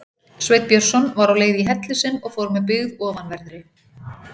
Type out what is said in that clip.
Sveinn Björnsson var á leið í helli sinn og fór með byggð ofanverðri.